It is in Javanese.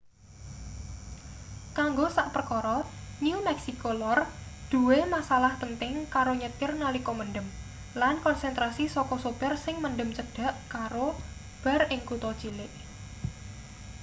kanggo sakperkara new meksiko lor duwe masalah penting karo nyetir nalika mendem lan konsentrasi saka sopir sing mendem cedhak karo bar ing kutha cilik